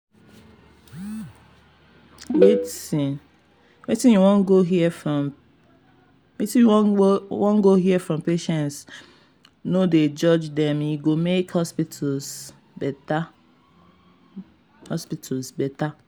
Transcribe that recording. i dey um talk say some families fit wan pray um or do rituals before dem dem go do procedure.